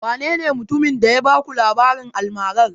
Wanene mutumin da ya baku labarin almarar?